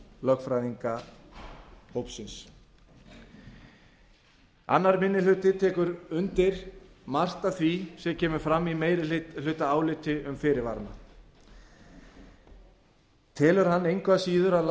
úr vinnu lögfræðingahópsins annar minni hluti tekur undir margt af því sem kemur fram í meirihlutaáliti um fyrirvarana annar minni hluti telur samt að